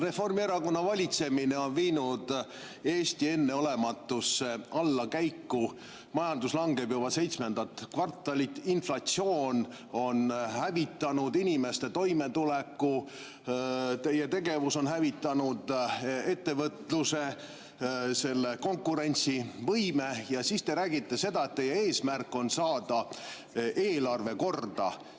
Reformierakonna valitsemine on viinud Eesti enneolematusse allakäiku, majandus langeb juba seitsmendat kvartalit, inflatsioon on hävitanud inimeste toimetuleku, teie tegevus on hävitanud ettevõtluse, selle konkurentsivõime, ja siis te räägite, et teie eesmärk on saada eelarve korda.